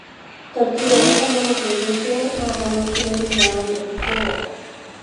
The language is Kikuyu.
Tũtiũĩ kana mũthuri ũcio nĩ aahonokire thutha wa ndege kũgũa.